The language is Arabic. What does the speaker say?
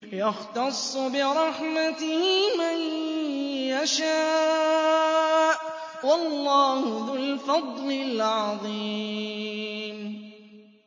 يَخْتَصُّ بِرَحْمَتِهِ مَن يَشَاءُ ۗ وَاللَّهُ ذُو الْفَضْلِ الْعَظِيمِ